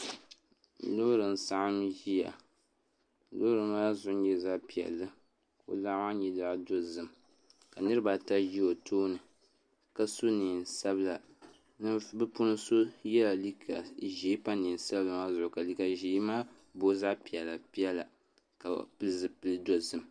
Loori n saɣam ʒiya loori maa zuɣu nyɛla zaɣ piɛlli ka di loɣu maa nyɛ zaɣ dozim ka niraba ata ʒi o tooni ka so neen sabila bi puuni so yɛla liiga ʒiɛ pa neen sabila maa zuɣu ka liiga maa booi zaɣ piɛla piɛla ka bi pili zipili dozim